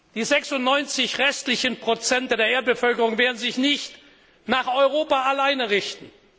Die 96 restlichen Prozent der Erdbevölkerung werden sich nicht allein nach Europa richten.